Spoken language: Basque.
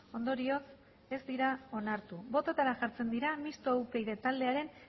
ondorioz ez dira onartu bototara jartzen dira mistoa upyd taldearen